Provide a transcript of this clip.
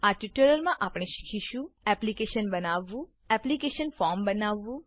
આ ટ્યુટોરીયલમાં આપણે શીખીશું એપ્લીકેશન બનાવવું એપ્લીકેશન ફોર્મ બનાવવું